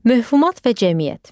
Möhumat və cəmiyyət.